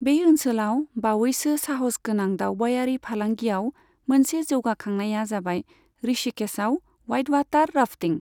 बे ओनसोलाव बावैसो साहस गोनां दावबायारि फालांगियाव मोनसे जौगाखांनाया जाबाय ऋषिकेशआव व्हाइटवाटार राफ्टिं।